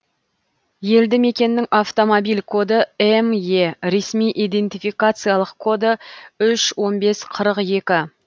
елді мекеннің автомобиль коды ме ресми идентификациялық коды үш он бес қырық екі